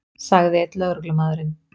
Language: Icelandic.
sagði einn lögreglumaðurinn.